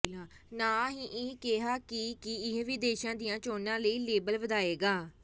ਨਾ ਹੀ ਇਹ ਕਿਹਾ ਕਿ ਕੀ ਇਹ ਵਿਦੇਸ਼ਾਂ ਦੀਆਂ ਚੋਣਾਂ ਲਈ ਲੇਬਲ ਵਧਾਏਗਾ